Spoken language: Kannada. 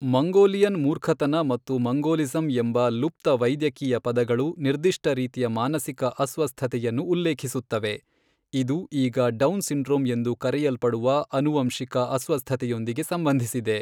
ಮಂಗೋಲಿಯನ್ ಮೂರ್ಖತನ ಮತ್ತು ಮಂಗೋಲಿಸಂ ಎಂಬ ಲುಪ್ತ ವೈದ್ಯಕೀಯ ಪದಗಳು ನಿರ್ದಿಷ್ಟ ರೀತಿಯ ಮಾನಸಿಕ ಅಸ್ವಸ್ಥತೆಯನ್ನು ಉಲ್ಲೇಖಿಸುತ್ತವೆ, ಇದು ಈಗ ಡೌನ್ ಸಿಂಡ್ರೋಮ್ ಎಂದು ಕರೆಯಲ್ಪಡುವ ಆನುವಂಶಿಕ ಅಸ್ವಸ್ಥತೆಯೊಂದಿಗೆ ಸಂಬಂಧಿಸಿದೆ.